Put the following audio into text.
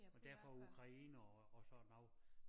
Og dér fra Ukraine og og sådan noget